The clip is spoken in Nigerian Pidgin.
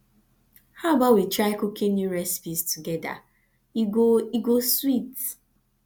how about we try cooking new recipes together e go e go sweet